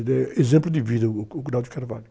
Ele é exemplo de vida, o.